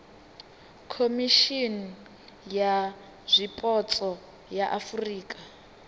khomishimi ya zwipotso ya afurika